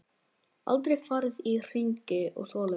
Aldrei farið í hringi og svoleiðis.